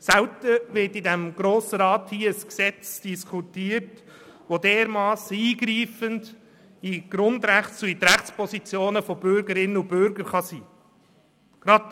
Selten wird im Grossen Rat ein Gesetz diskutiert, das dermassen tief in die Grundrechte und Rechtspositionen von Bürgerinnen und Bürgern eingreifen kann.